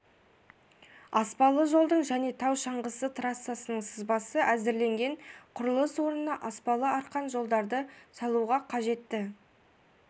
аспалы жолдың және тау шаңғысы трассасының сызбасы әзірленген құрылыс орнына аспалы арқан жолдарды салуға қажетті